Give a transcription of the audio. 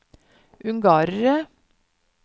ungarere